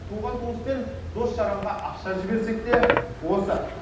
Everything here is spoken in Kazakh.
туған туыс пен дос жаранға ақша жіберсек те осы